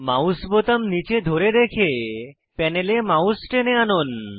mouse বোতাম নীচে ধরে রেখে প্যানেলে মাউস টেনে আনুন